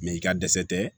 Mɛ i ka dɛsɛ tɛ